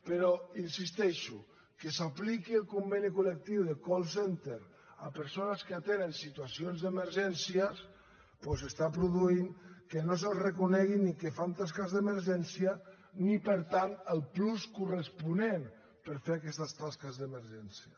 però hi insisteixo que s’apliqui el conveni col·lectiu de call centre a persones que atenen situacions d’emergències doncs està produint que no se’ls reconegui ni que fan tasques d’emergència ni per tant el plus corresponent per fer aquestes tasques d’emergència